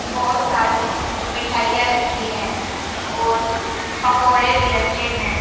बहुत सारी मिठाइयां रखी हैं और पकौड़े भी रखे हैं।